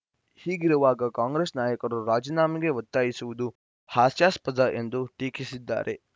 ಹೀಗಿರುವಾಗ ಕಾಂಗ್ರೆಸ್‌ ನಾಯಕರು ರಾಜೀನಾಮೆಗೆ ಒತ್ತಾಯಿಸುವುದು ಹಾಸ್ಯಾಸ್ಪದ ಎಂದು ಟೀಕಿಸಿದ್ದಾರೆ